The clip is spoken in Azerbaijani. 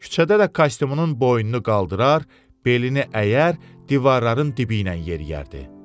Küçədə də kostyumunun boynunu qaldırar, belini əyər, divarların dibi ilə yeriyərdi.